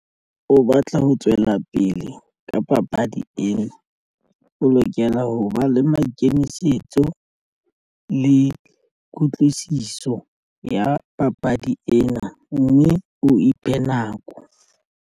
O batla ho tswela pele ka papadi ena o lokela ho ba le maikemisetso le kutlwisiso ya papadi ena mme o iphe nako.